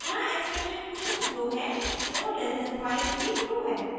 यहाँ एक्सप्रेशन 2जो है 4<5 भी ट्रू है